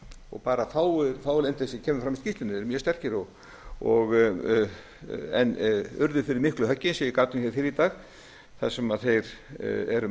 og bara þeir fáu sem koma fram í skýrslunni eru mjög sterkir en urðu fyrir miklu höggi eins og ég gat um fyrr í dag þar sem þeir eru